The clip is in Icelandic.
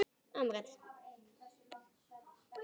Þá fylgir hluti úr jörðum.